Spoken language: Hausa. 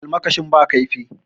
Almakashin ba kaifi